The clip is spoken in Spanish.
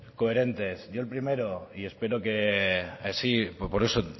coherentes yo el primero y espero que así por eso